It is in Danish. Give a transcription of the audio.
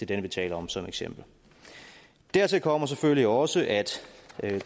den vi taler om som eksempel dertil kommer selvfølgelig også at